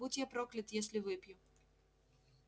будь я проклят если выпью